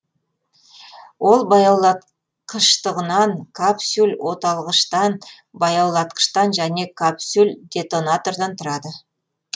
ол баяулатқыштығынан капсюль оталғыштан баяулатқыштан және капсюл детонатордан тұрады